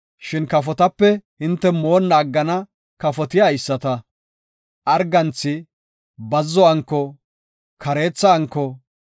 Shin kafotape hinte moonna aggana kafoti haysata; arganthi, bazzo anko, kareetha anko,